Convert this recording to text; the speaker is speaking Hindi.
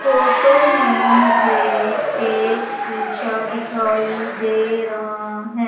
फोटो में मुझे एक शीशा दिखाई दे रहा हैं।